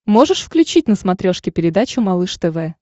можешь включить на смотрешке передачу малыш тв